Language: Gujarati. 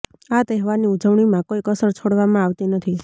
આ તહેવારની ઉજવણીમાં કોઈ કસર છોડવામાં આવતી નથી